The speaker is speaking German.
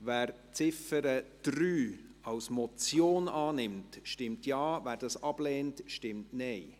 Wer die Ziffer 3 als Motion annimmt, stimmt Ja, wer dies ablehnt, stimmt Nein.